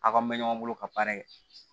Aw ka mɛ ɲɔgɔn bolo ka baara kɛ